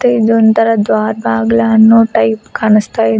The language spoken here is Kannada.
ಮತ್ತೆ ಇದು ಒಂತರಾ ದ್ವಾರಬಾಗ್ಲು ಅನ್ನೋ ಟೈಪ್ ಕಾಣಿಸ್ತಿದೆ.